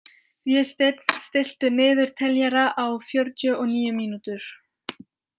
Vésteinn, stilltu niðurteljara á fjörutíu og níu mínútur.